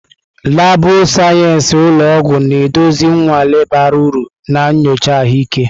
Laabụ̀ sayensị ụlọ ọgwụ na-eduzi nnwale bara uru na nyocha ahụike.